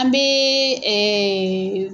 An bɛ